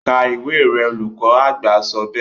ka ìwé rẹ, olùkọ àgbà sọ bẹ́ẹ̀